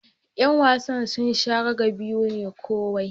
Yan wasan sun sha raga biyu ne kowai.